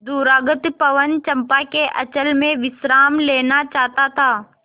दूरागत पवन चंपा के अंचल में विश्राम लेना चाहता था